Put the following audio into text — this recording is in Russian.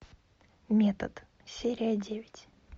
метод серия девять